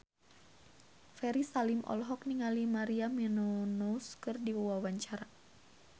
Ferry Salim olohok ningali Maria Menounos keur diwawancara